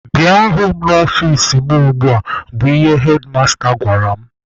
Bịa hụ m n'ọfici mụ ugbua! bụ ihe hedmasta gwara m.